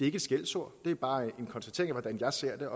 ikke et skældsord det er bare en konstatering af hvordan jeg ser det